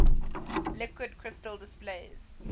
liquid crystal displays